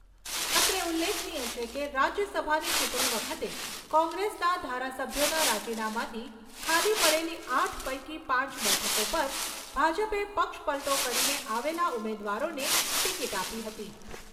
અત્રે ઉલ્લેખનીય છે કે, રાજ્યસભાની ચૂંટણી વખતે કોંગ્રેસના ધારાસભ્યોના રાજીનામાથી ખાલી પડેલી આઠ પૈકી પાંચ બેઠકો પર ભાજપે પક્ષપલટો કરીને આવેલા ઉમેદવારોને ટીકીટ આપી હતી.